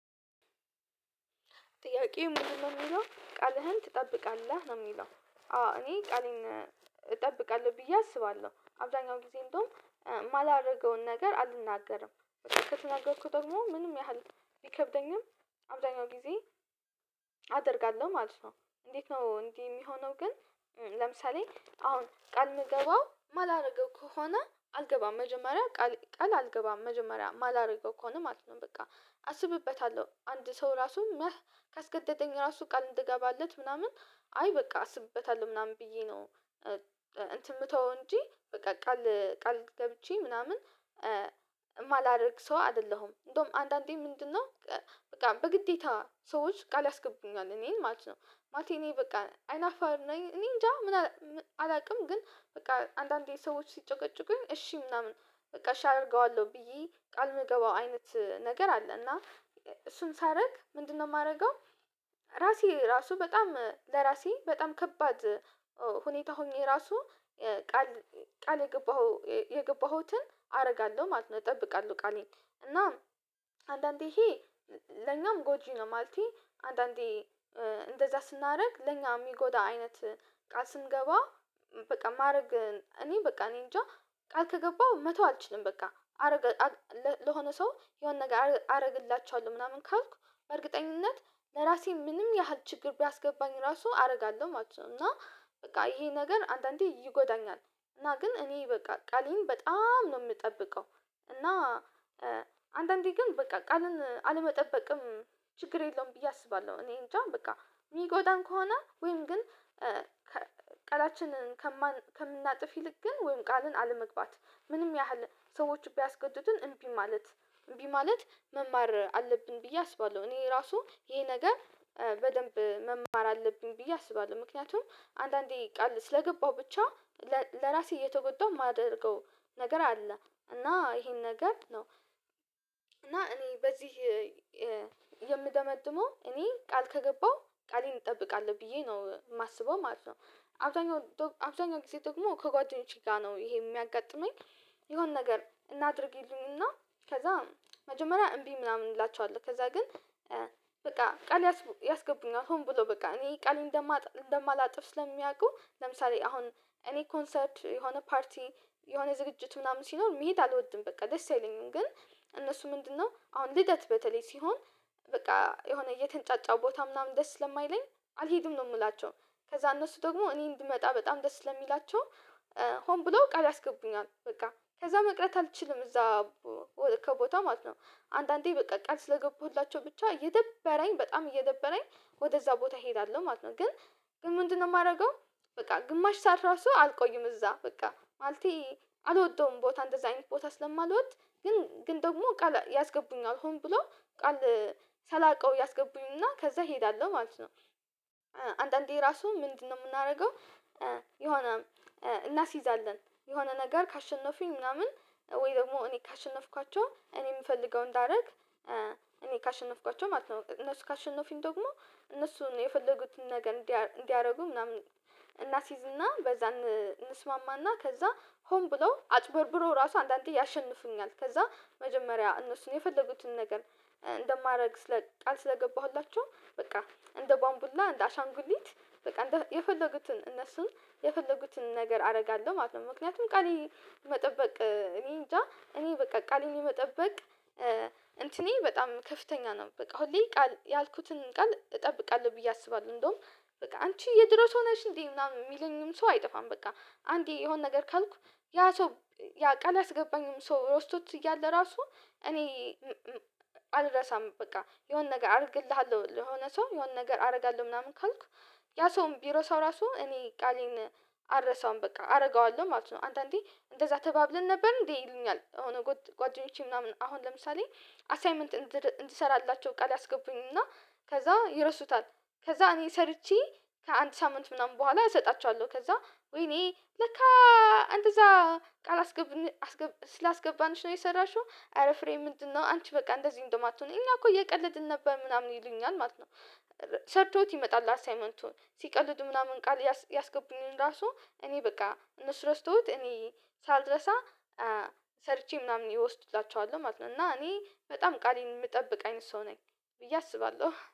ጥያቄው ምንድነው የሚለው ቃልህን ትጠብቃለህ ነው የሚለው? አዎ እኔ ቃሌን እጠብቃለሁ ብዬ አስባለሁ አብዛኛው ጊዜ እንደውም የማላደርገውን ነገር አልናገርም ከተናገርኩት ደግሞ ምንም ያህል ቢከብደኝም አብዛኛው ጊዜ አደርጋለሁ ማለት ነው። እንዴት ነው እንድህ የሚሆነው ግን ለምሳሌ አሁን ቃል የምገባው የማላደርገው ከሆነ አልገባም መጀመሪያ ቃል ቃል አልገባም መጀመሪያ ማላረግው ከሆነ ማለት ነው በቃ አስብበታለሁ አንድ ሰው ራሱ መህ ካስገደደኝ ግን ራሱ ቃል እንድገባለት ምናምን አይ በቃ አስብበታለሁ ምናምን ብዬ ነው። እንትን የምተው እንጂ በቃ ቃል ገብቼ ምናምን እማላደርግ ሰው አይደለሁም እንደውም አንዳንዴ ምንድነው በቃ በግዴታ ሰዎች ቃል ያስገቡኛል እኔን ማለት ነው። ማለቴ እኔ በቃ አይናፋርም ነኚ እኔ እንጃ ምን አላውቅም ግን በቃ አንዳንዴ ሰዎች ሲጨቀጭቁኝ እሺ ምናምን በቃ እሺ አደርገዋለሁ ብዬ ቃል የምገባው አይነት ነገር አለ። እና እሱን ሳደርግ ምንድነው የማደርገው ራሴ ራሱ በጣም ለራሴ በጣም ከባድ ሁኔታ ሆኜ ራሱ ቃል ቃል የገባኸው የገባሁትን አደርጋለሁ ማለት ነው። እጠብቃለሁ ቃሌ እና አንዳንዴ ይሄ ለኛም ጎጂ ነው ማለቴ አንዳንዴ እንደዛ ስናደርግ ለኛ የሚጎዳ አይነት ቃል ስንገባ በቃ ማድረግ እኔ በቃ እኔ እንጃ ቃል ከገባው መተው አልችልም። በቃ አረገዋለሁ ለሆነ ሰው የሆነ ነገር አረግላቸዋለሁ ምናምን ካልኩ በእርግጠኝነት ለራሴ ምንም ያህል ችግር ቢያስገባኝ ራሱ አደርጋለሁ ማለት ነው። እና በቃ ይሄ ነገር አንዳንዴ ይጎዳኛል እና ግን እኔ በቃ ቃሌን በጣም ነው የምጠብቀው እና አንዳንዴ ግን በቃ ቃልን አለመጠበቅም ችግር የለውም ብዬ አስባለሁ። እኔ እንጃ በቃ የሚጎዳን ከሆነ ወይም ግን ቃላችንን ከምናጥፍ ይልቅ ግን ወይም ቃልን አለመግባት ምንም ያህል ሰዎች ቢያስገድዱን እምቢ ማለት እምቢ ማለት መማር አለብን ብዬ አስባለሁ። እኔ ራሱ ይሄ ነገር በደንብ መማር አለብኝ ብዬ አስባለሁ ምክንያቱም አንዳንዴ ቃል ስለገባሁ ብቻ ለራሴ እየተጎዳሁ የማደርገው ነገር አለ እና ይሄን ነገር ነው እና እኔ በዚህ የምደመድመው እኔ ቃል ከገባው ቃሌን እጠብቃለሁ ብዬ ነው የማስበው ማለት ነው። አብዛኛው አብዛኛው ጊዜ ደግሞ ከጓደኞቼ ጋር ነው ይሄ የሚያጋጥመኝ የሆነ ነገር አድርጊልኝና ከዛ መጀመሪያ እምቢ ምናምን እንላቸዋለን ከዛ ግን በቃ ቃል ያስገቡኛል ሆኖ ብሎ በቃ እኔ ቃሌን እንደማላጥፍ ስለሚያውቁ ለምሳሌ አሁን እኔ ኮንሰርት የሆነ ፓርቲ የሆነ ዝግጅት ምናምን ሲኖር መሄድ አልወድም በቃ ደስ አይለኝም ግን እነሱ ምንድነው አሁን ልደት በተለይ ሲሆን በቃ የሆነ እየተንጫጫው ቦታ ምናምን ደስ ስለማይለኝ አልሄድም ነው የምላቸው። ከዛ እነሱ ደግሞ እኔን ብመጣ በጣም ደስ ለሚላቸው ሆን ብሎ ቃል ያስገቡኛል በቃ ከዛ መቅረት አልችልም እዛ ከቦታው ማለት ነው አንዳንዴ በቃ ቃል ስለገባሁላቸው ብቻ እደበረኝ በጣም እየደበረኝ ወደዛ ቦታ እሄዳለሁ ማለት ነው። ግን ምንድነው የማደርገው በቃ ግማሽ ሰዓት ራሱ አልቆይም እዛ በቃ ማለቴ አልወደውም ቦታን አንደዛ አይነት ቦታ ስለማልወድ ግን ግን ደግሞ ቃል ያስገቡኛል ሆኖ ብሎ ቃል ሳላውቀው ያስገቡኝና ከዛ እሄዳለሁ ማለት ነው። አንዳንዴ ራሱ ምንድነው የምናደርገው የሆነ እናስይዛለን የሆነ ነገር ካሸነፉኝ ምናምን ወይ ደግሞ እኔ ካሸነፍኳቸው እኔ የምፈልገውን እንዳረግ እኔ ካሸነፍኳቸው ማለት ነው እነሱ ካሸነፉኝ ደግሞ እነሱን የፈለጉትን ነገር እንዲያደርጉ ምናምን እናስይዝና በዛ እንስማማና ከዛ ሆን ብለው አጨበርብረው እራሱ አንዳንዴ ያሸንፉኛል ከዛ መጀመሪያ እነሱን የፈለጉትን ነገር እንደማድረግ ስለ ቃል ስለገባሁላቸው በቃ እንደ ቧንቡላ እንደ አሻንጉሊት በቃ የፈለጉትን እነሱን የፈለጉትን ነገር አደርጋለሁ ማለት ነው። ምክንያቱም ቃሌ መጠበቅ እኔ እንጃ እኔ በቃ ቃሌን የመጠበቅ እንትኔ በጣም ከፍተኛ ነው በቃ ሁሌ ቃል ያልኩትን ቃል እጠብቃለሁ ብዬ አስባለሁ እንደውም በቃ አንቺ የድሮ ሰው ነሽ እንዴ ምናምን የሚለኝም ሰው አይጠፋም በቃ አንዴ የሆነ ነገር ካልኩ ያ ሰው ያ ቃል ያስገባኝም ሰው ረስቶት እያለ ራሱ እኔ አልረሳም በቃ የሆነ ነገር አድርግልሃለሁ የሆነ ሰው የሆነ ነገር አደርጋለሁ ምናምን ካልኩ ያ ሰውም ቢረሳው ራሱ እኔ ቃሌን አልረሳውም በቃ አደርገዋለሁ ማለት ነው። አንተ እንዴ እንደዛ ተባብለን ነበር እንዴ ይሉኛል የሆነ ጓደኞቼ ምናምን አሁን ለምሳሌ አሳይመንት እንዲሰራላቸው ቃል ያስገቡኝና ከዛ ይረሱታል ከዛ እኔ ሰርቼ ከአንድ ሳምንት ምናምን በኋላ እሰጣችኋለሁ ከዛ ወይኔ ለካ እንደዛ ቃል ስላስገባንሽ ነው የሰራሽው አረ ፍሬ ምንድነው አንቺ በቃ እንደዚህ እንደማትሆን እኛ እኮ እየቀለድን ነበር ምናምን ይሉኛል ማለት ነው። ሰርቶት ይመጣል አሳይመንቱን ሲቀልዱ ምናምን ቃል ያስገቡኝን ራሱ እኔ በቃ እነሱ ረስተውት እኔ ሳልርሳ ሰርቼ ምናምን እወስድላቸዋለሁ ማለት ነው። እና እኔ በጣም ቃሌን የምጠብቅ አይነት ሰው ነኝ ብዬ አስባለሁ